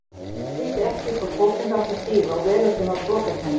Fólk vissi ekki í hvorn fótinn það átti að stíga og veröldin var brotakennd.